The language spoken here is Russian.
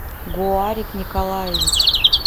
гуарик николаевич